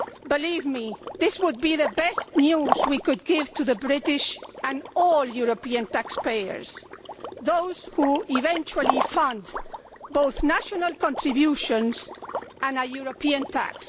Believe me, this would be the best news we could give to British and all European taxpayers those who eventually fund both national contributions and a European tax.